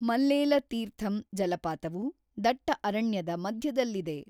ಮಲ್ಲೇಲ ತೀರ್ಥಂ ಜಲಪಾತವು ದಟ್ಟ ಅರಣ್ಯದ ಮಧ್ಯದಲ್ಲಿದೆ.